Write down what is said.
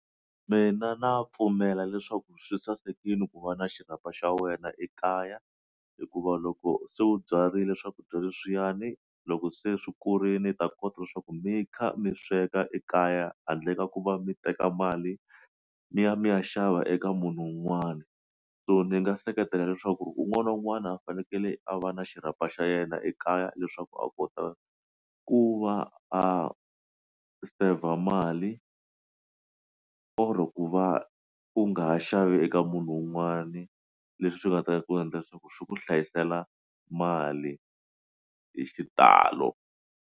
Mina na pfumela leswaku swi sasekile ku va na xirhapa xa wena ekaya hikuva loko se u byarile swakudya leswiyani loko se swi kurile ta kota leswaku mi kha mi sweka ekaya handle ka ku va mi teka mali mi ya mi ya xava eka munhu un'wana so ni nga seketela leswaku un'wana na un'wana a fanekele a va na xirhapa xa yena ekaya leswaku a kota ku va a saver mali or ku va ku nga ha xavi eka munhu wun'wani leswi swi nga ta ku endla leswaku swi ku hlayisela mali hi xitalo.